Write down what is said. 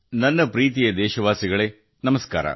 ನನ್ನ ಪ್ರೀತಿಯ ದೇಶವಾಸಿಗಳೇ ನಮಸ್ಕಾರ